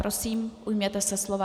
Prosím, ujměte se slova.